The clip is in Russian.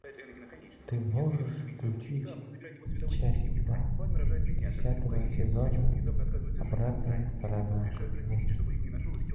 ты можешь включить часть два десятого сезона обратная сторона луны